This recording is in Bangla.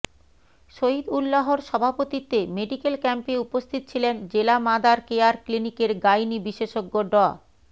শহীদউল্লাহর সভাপতিত্বে মেডিক্যাল ক্যাম্পে উপস্থিত ছিলেন জেলা মাদার কেয়ার ক্লিনিকের গাইনী বিষেশজ্ঞ ডা